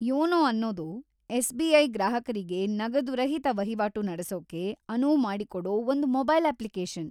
YONO ಅನ್ನೋದು SBI. ಗ್ರಾಹಕರಿಗೆ ನಗದು ರಹಿತ ವಹಿವಾಟು ನಡೆಸೋಕೆ ಅನುವು ಮಾಡಿಕೊಡೋ ಒಂದ್‌ ಮೊಬೈಲ್ ಅಪ್ಲಿಕೇಶನ್.